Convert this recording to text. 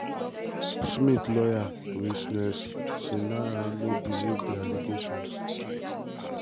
smith lawyer rinesh sivnarain no believe dis allegations.